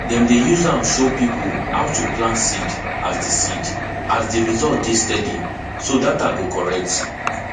dem dey use am show people how to plant seed as the seed as the result dey steady so data go correct